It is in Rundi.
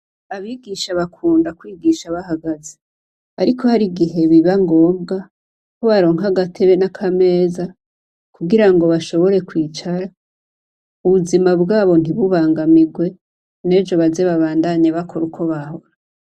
Abigisha bakunda kwigisha bahagaze. Ariko har'igihe biba ngombwa ko baronka agatebe n'akameza kugira ngo bashobore kwicara ubuzima bwabo ntibubangamigwe n'ejo baze babandanye bakora uko bahora.